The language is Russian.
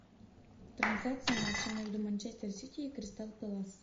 трансляция матча между манчестер сити и кристал пэлас